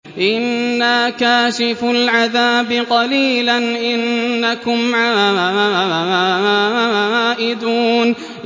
إِنَّا كَاشِفُو الْعَذَابِ قَلِيلًا ۚ إِنَّكُمْ عَائِدُونَ